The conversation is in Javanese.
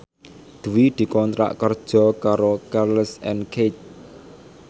Dwi dikontrak kerja karo Charles and Keith